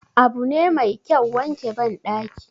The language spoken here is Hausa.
Abu ne Mai kyau wanke bandaki